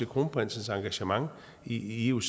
kronprinsens engagement i ioc